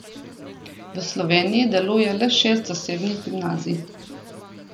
V Sloveniji deluje le šest zasebnih gimnazij.